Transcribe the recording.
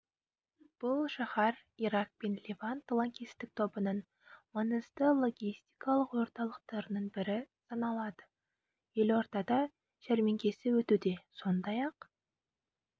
бұл шаһар ирак пен левант лаңкестік тобының маңызды логистикалық орталықтарының бірі саналады елордада жәрмеңкесі өтуде сондай-ақ